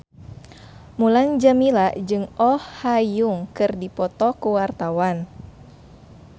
Mulan Jameela jeung Oh Ha Young keur dipoto ku wartawan